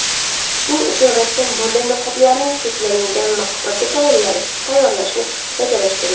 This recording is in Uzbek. Shuning uchun rassom bunday niqoblarning cheklangan miqdorda tayyorlashni rejalashtirgan.